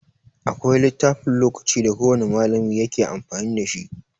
Akwai littafin lokaci da kowan malami yake amfani dashi.